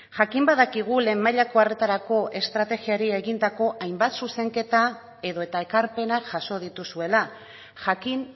jakin badakigu lehen mailako arretarako estrategiari egindako hainbat zuzenketa edota ekarpenak jaso dituzuela jakin